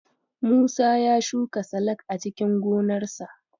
Musa ya shuka salak a cikin gonarsa.